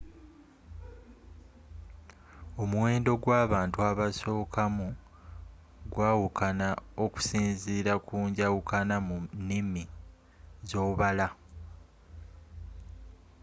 omuwendo gw’abantu abasokamu gwawukana okusinzila ku njawukana mu niimi z;obala